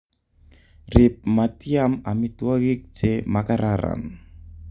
Rip matiam amitwokik che makararan